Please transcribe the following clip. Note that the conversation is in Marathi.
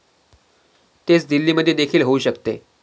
तेच दिल्लीमध्येदेखील होऊ शकते.